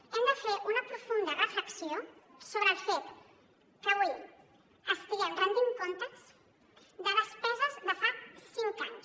hem de fer una profunda reflexió sobre el fet que avui estiguem rendint comptes de despeses de fa cinc anys